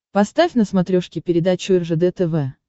поставь на смотрешке передачу ржд тв